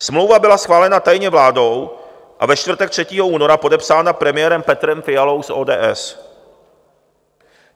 Smlouva byla schválena tajně vládou a ve čtvrtek 3. února podepsána premiérem Petrem Fialou z ODS.